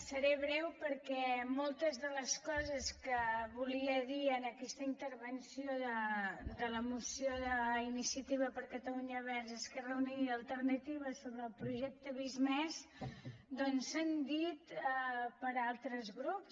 seré breu perquè moltes de les coses que volia dir en aquesta intervenció de la moció d’iniciativa per catalunya verds esquerra unida i alternativa sobre el projecte visc+ doncs s’han dit per altres grups